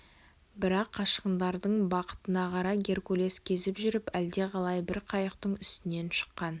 бірақ қашқындардың бақытына қарай геркулес кезіп жүріп әлдеқалай бір қайықтың үстінен шыққан